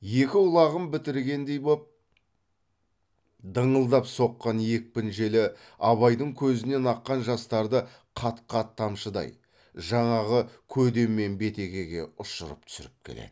екі құлағын бітіргендей боп дыңылдап соққан екпін желі абайдың көзінен аққан жастарды қат қат тамшыдай жаңағы көде мен бетегеге ұшырып түсіріп келеді